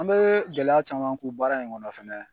An bee gɛlɛya caman ku baara in kɔnɔ fɛnɛ